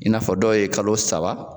I n'a fɔ dɔ ye kalo saba.